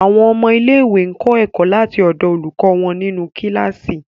Àwọn ọmọ ilẹ̀-iwé kọ ẹkọ̀ láti ọ̀dọ̀ àwọn olùkọ wọn ni inú kíláṣí.